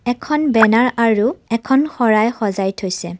এখন বেনাৰ আৰু এখন শৰাই সজাই থৈছে।